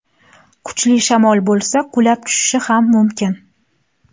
Kuchli shamol bo‘lsa, qulab tushishi ham mumkin.